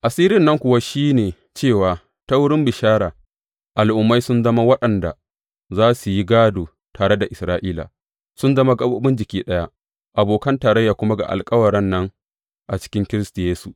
Asirin nan kuwa shi ne cewa ta wurin bishara, Al’ummai sun zama waɗanda za su yi gādo tare da Isra’ila, sun zama gaɓoɓin jiki ɗaya, abokan tarayya kuma ga alkawaran nan a cikin Kiristi Yesu.